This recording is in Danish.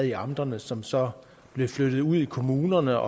i amterne som så blev flyttet ud i kommunerne